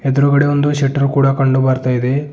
ಎದುರುಗಡೆ ಒಂದು ಶಟರ್ ಕೂಡ ಕಂಡು ಬರ್ತಾ ಇದೆ.